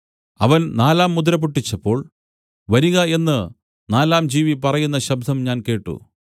അവൻ നാലാം മുദ്ര പൊട്ടിച്ചപ്പോൾ വരിക എന്നു നാലാം ജീവി പറയുന്ന ശബ്ദം ഞാൻ കേട്ട്